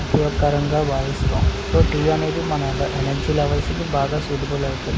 ఉపయోగకారంగ బావిస్తము so tea అనేది మన ఎనర్జీ లెవల్స్ కి బాగా సూటబుల్ అవుతది.